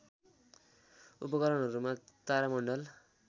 उपकरणहरूमा तारामण्डल